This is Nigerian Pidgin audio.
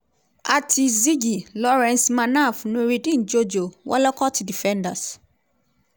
ati zigi lawrence manaf nurudeen jojo wollacot defenders-